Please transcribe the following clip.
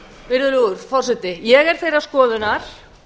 virðulegur forseti ég er þeirrar skoðunar